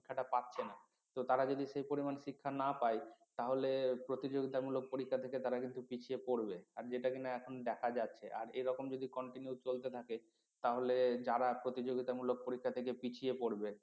শিক্ষাটা পাচ্ছে না তো তারা যদি সেই পরিমান শিক্ষা না পায় তাহলে প্রতিযোগিতামূলক পরীক্ষা থেকে তারা কিন্তু পিছিয়ে পড়বে আর যেটা কিনা এখন দেখা যাচ্ছে আর এরকম যদি continue চলতে থাকে তাহলে যারা প্রতিযোগিতামূলক পরীক্ষা থেকে পিছিয়ে পড়বে